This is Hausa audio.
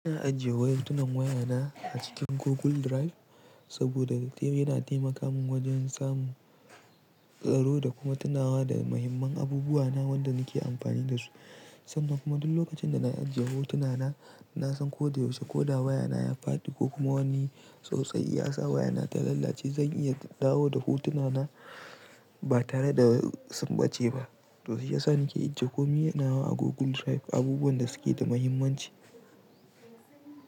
Ina ajiye wasu hotunan wayana a cikin Google Drive saboda yana taimaka min wajen samun tsaro da kuma tunawa da muhimman abubuwana wanda nake amfani da su. Sannan kuma duk lokacin da na ajiye hotuna na, na san ko da yaushe ko da wayana ya faɗi ko kuma wani tsautsayi ya sa wayana ta lalace, zan iya dawo da hotuna na ba tare da sun ɓace ba. To shiyasa nake ajiye komi na a Google Drive, abubuwan da suke da muhimmanci.